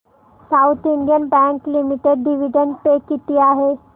south Indian bank limited dividend pay किती आहे